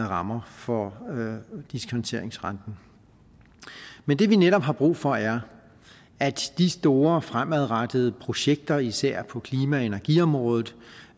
rammer for diskonteringsrenten men det vi netop har brug for er at de store fremadrettede projekter især på klima og energiområdet